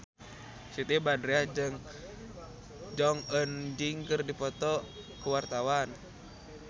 Siti Badriah jeung Jong Eun Ji keur dipoto ku wartawan